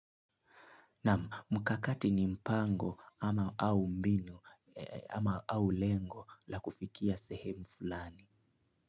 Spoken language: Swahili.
Na mkakati ni mpango ama au mbinu ama au lengo la kufikia sehemu fulani.